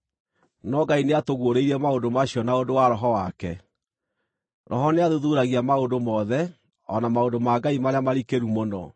no Ngai nĩatũguũrĩirie maũndũ macio na ũndũ wa Roho wake. Roho nĩathuthuuragia maũndũ mothe, o na maũndũ ma Ngai marĩa marikĩru mũno.